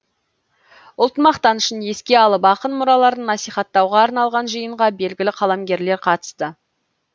ұлт мақтанышын еске алып ақын мұраларын насихаттауға арналған жиынға белгілі қаламгерлер қатысты